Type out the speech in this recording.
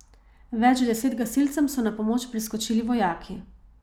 Več deset gasilcem so na pomoč priskočili vojaki.